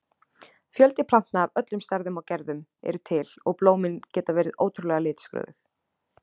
Fjöldi plantna af öllum stærðum og gerðum eru til og blómin geta verið ótrúlega litskrúðug.